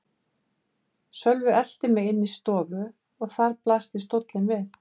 Sölvi elti mig inn í stofu og þar blasti stóllinn við.